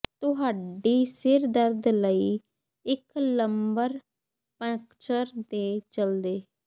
ਤੁਹਾਡੀ ਸਿਰ ਦਰਦ ਲਈ ਇੱਕ ਲੰਬਰ ਪੰਕਚਰ ਦੇ ਚਲਦੇ